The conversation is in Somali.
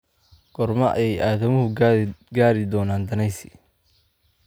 goorma ayay aadamuhu gaadhi doonaan danaysi